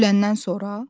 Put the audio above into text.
Öləndən sonra?